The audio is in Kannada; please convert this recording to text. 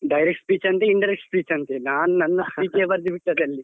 Direct speech ಅಂತೆ indirect speech ಅಂತೆ ನಾನ್ ನನ್ನ ಬರ್ದು ಬಿಟ್ಟದ್ದು ಅಲ್ಲಿ.